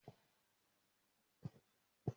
Mo máa ń lo dígí láti fi wo ara mi.